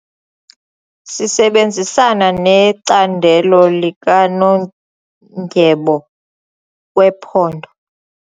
Sisebenzisana necandelo likanondyebo wephondo.